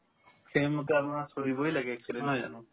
সেইমতে আমাৰ চলিবয়ে লাগে actually নহয় জানো